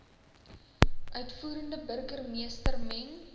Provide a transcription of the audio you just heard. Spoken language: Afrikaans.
uitvoerende burgermeester meng